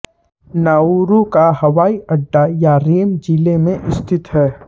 Nauru का हवाई अड्डा यारेम जिले में स्थित है